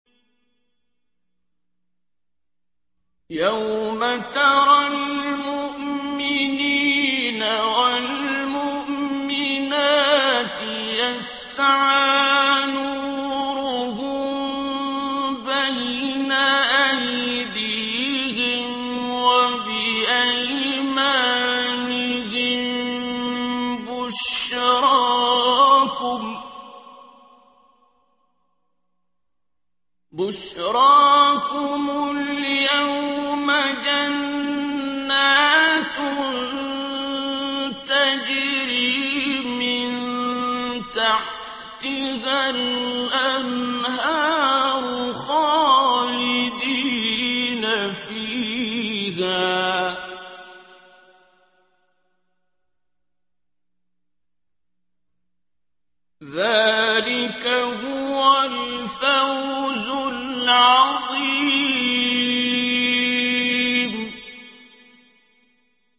يَوْمَ تَرَى الْمُؤْمِنِينَ وَالْمُؤْمِنَاتِ يَسْعَىٰ نُورُهُم بَيْنَ أَيْدِيهِمْ وَبِأَيْمَانِهِم بُشْرَاكُمُ الْيَوْمَ جَنَّاتٌ تَجْرِي مِن تَحْتِهَا الْأَنْهَارُ خَالِدِينَ فِيهَا ۚ ذَٰلِكَ هُوَ الْفَوْزُ الْعَظِيمُ